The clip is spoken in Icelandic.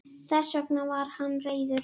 Þess vegna var hann reiður.